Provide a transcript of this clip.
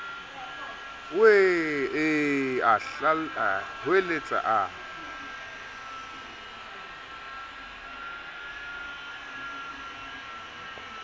wee ee a hweletsa a